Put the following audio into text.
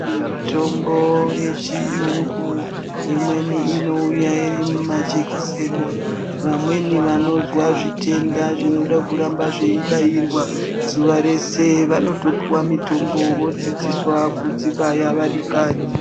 Mitombo yechiyungu imweni inouya iri mumajekiseni. Vamweni vanozwa zvitenda zvinoda kuramba zveibairwa zuva rese vanotopiwa mitombo vodzidziswa kudzibaya vari kanyi.